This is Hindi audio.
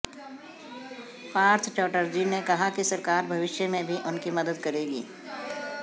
पार्थ चौटर्जी ने कहा कि सरकार भविष्य में भी उनकी मदद करेगी